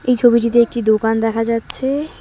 এই ছবিটিতে একটি দোকান দেখা যাচ্ছে।